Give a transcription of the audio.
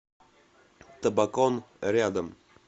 табакон рядом